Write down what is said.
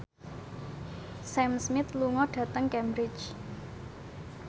Sam Smith lunga dhateng Cambridge